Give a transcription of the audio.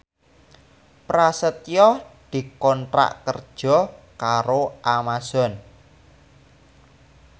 Prasetyo dikontrak kerja karo Amazon